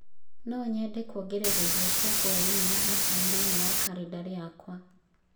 No nyende kũongerera irio cia hwaĩ-inĩ na hassan thĩinĩ wa kalendarĩ yakwa.